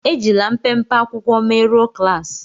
É jilà mpémpé akwụkwọ merụ̀ọ klaasi